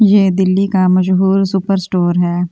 ये दिल्ली का मजबूर सुपर स्टोर हैं।